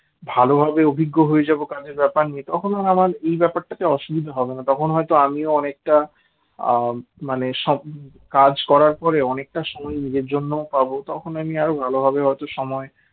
ভালোভাবে অভিজ্ঞ হয়ে যাব কাজের ব্যাপার নিয়ে তখন আমার আর এই ব্যাপারটা তো অসুবিধা হবে না তখন হয়তো আমিও অনেকটা মানে কাজ করার পরে অনেকটা সময় নিজের জন্যও পাব তখন আমি আরো ভালোভাবে হয়তো সময়